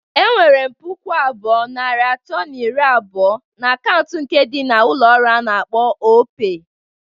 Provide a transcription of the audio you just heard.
Enwerem puku abụọ, narị atọ na iri abụọ na akaụntụ nke ndi na ulo olu a na-akpọ Opay,